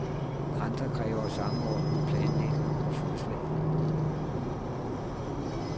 Andre kræver samordnet planlægning og fodslag.